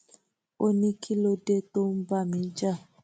ó ní kí ló dé tó ń bá mi jà